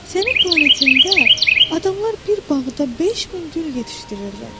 Sənin planetində adamlar bir bağda 5000 gül yetişdirirlər.